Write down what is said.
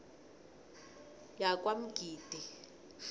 yakwamgidi